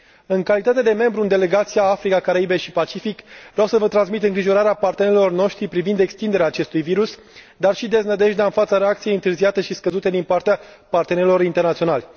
În calitate de membru al Delegației la Adunarea Parlamentară Paritară ACP UE, vreau să vă transmit îngrijorarea partenerilor noștri privind extinderea acestui virus, dar și deznădejdea în fața reacției întârziate și scăzute din partea partenerilor internaționali.